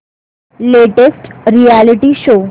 latest reality show